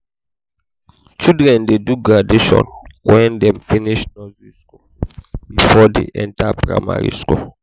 children dey do graduation wen dem finish nursey skool before dey enta primary.